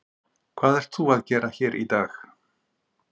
Hvað ert þú að gera hér í dag?